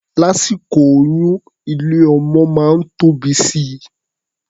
Lásìkò oyún, ilé-ọmọ máa ń tóbi si.